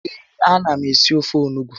Ee, a na m esị ofe onugbu